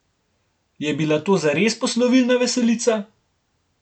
Je bila to zares poslovilna veselica?